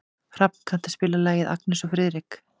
Hrafn, kanntu að spila lagið „Agnes og Friðrik“?